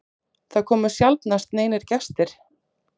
Það komu sjaldnast neinir gestir.